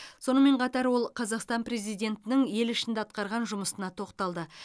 сонымен қатар ол қазақстан президентінің ел ішінде атқарған жұмысына тоқталды